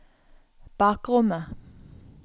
bakrommet